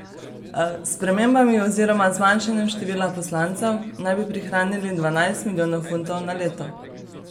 S spremembami oziroma zmanjšanjem števila poslancev naj bi prihranili dvanajst milijonov funtov na leto.